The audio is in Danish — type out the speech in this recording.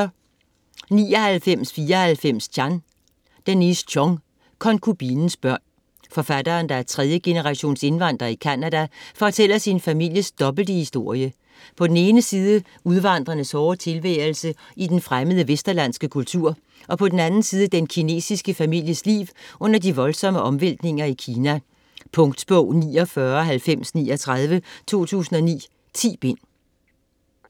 99.94 Chan Chong, Denise: Konkubinens børn Forfatteren, der er tredjegenerations indvandrer i Canada, fortæller sin families dobbelte historie: På den ene side udvandrernes hårde tilværelse i den fremmede vesterlandske kultur, og på den anden side den kinesiske families liv under de voldsomme omvæltninger i Kina. Punktbog 499039 2009. 10 bind.